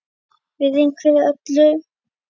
Virðing fyrir öllum.